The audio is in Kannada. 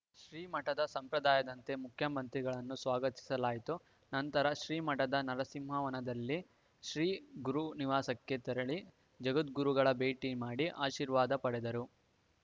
ಶ್ರೀ ಮಠದ ಸಂಪ್ರದಾಯದಂತೆ ಮುಖ್ಯಮಂತ್ರಿಗಳನ್ನು ಸ್ವಾಗತಿಸಲಾಯಿತು ನಂತರ ಶ್ರೀ ಮಠದ ನರಸಿಂಹವನದಲ್ಲಿ ಶ್ರೀ ಗುರು ನಿವಾಸಕ್ಕೆ ತೆರಳಿ ಜಗದ್ಗುರುಗಳ ಭೇಟಿ ಮಾಡಿ ಆಶೀರ್ವಾದ ಪಡೆದರು